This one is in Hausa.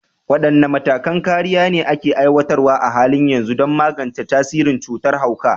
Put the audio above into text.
Wadanne matakan kariya ne ake aiwatarwa a halin yanzu don magance tasirin cutar hauka?